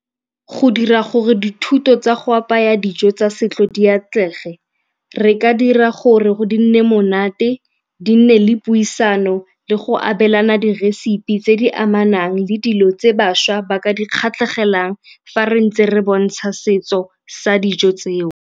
Go dira gore dithuto tsa go apaya dijo tsa setso di atlege re ka dira gore go nne monate, di nne le puisano le go abelana diresepi tse di amanang le dilo tse bašwa ba ka di kgatlhegelang fa re ntse re bontsha setso sa dijo tseo.